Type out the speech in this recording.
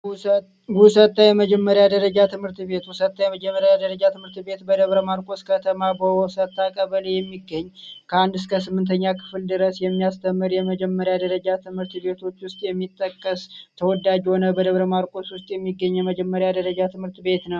ውሰታ የመጀመሪያ ደረጃ ትምህርት ቤት፦ ውሰታ የመጀመሪያ ደረጃ ትምህርት ቤት በደብረማርቆስ ከተማ በውሰታ ቀበሌ የሚገኝ ከአንድ እስከ ስምንተኛ ክፍል ድረስ የሚያስተምር ከመጀመሪያ ደረጃ ትምህርት ቤቶች ውስጥ የሚጠቀስ ተወዳጅ የሆነ በደብረማርቆስ ውስጥ የሚገኝ የመጀመሪያ ደረጃ ትምህርት ቤት ነው።